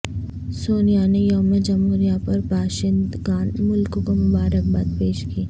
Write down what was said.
سونیا نے یوم جمہوریہ پر باشندگان ملک کو مبارکباد پیش کی